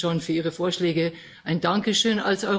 Auch dafür schon für Ihre Vorschläge ein Dankeschön.